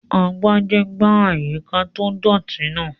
Agbájé gbá àyíká tó dọ̀ọ̀tì náà